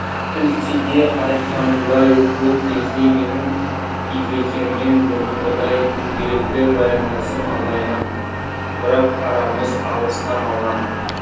ілкіде айтқанымдай бұл кезде менің ілекеңмен бұрынғыдай күнделікті байланысым азайған бірақ арамыз алыстамаған